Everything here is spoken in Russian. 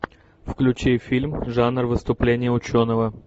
включи фильм жанр выступление ученого